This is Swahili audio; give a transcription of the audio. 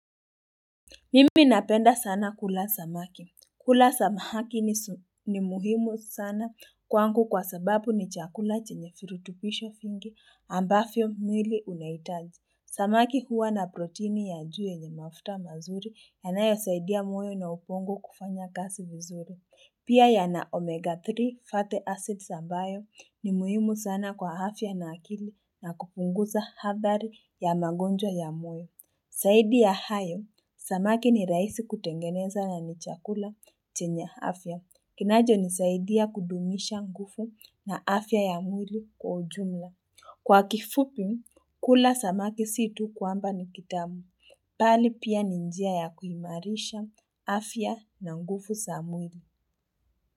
Mimi napenda sana kula samaki. Kula samaki ni muhimu sana kwangu kwa sababu ni chakula chenye virutubisho vingi ambavyo mwili unahitaji. Samaki huwa na proteini ya juu yenye mafuta mazuri yanayosaidia moyo na ubongo kufanya kazi vizuri. Pia yana omega 3 fatty acids ambayo ni muhimu sana kwa afya na akili na kupunguza adhari ya magonjwa ya moyo. Zaidi ya hayo, samaki ni rahisi kutengeneza na ni chakula chenye afya. Kinacho nisaidia kudumisha nguvu na afya ya mwili kwa ujumla. Kwa kifupi, kula samaki si tu kwamba ni kitamu. Bali pia ni njia ya kuimarisha afya na nguvu za mwili.